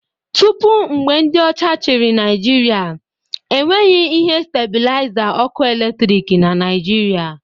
Tupu mgbe ndị ọcha chịrị Naijiria, e nweghị ihe stabilaiza ọkụ eletrik na Naịjirịa